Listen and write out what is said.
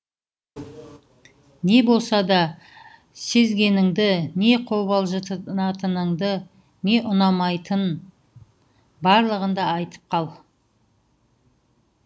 не болса да сезгеніңді не қобалжытатынын не ұнамайтынын барлығын да айтып қал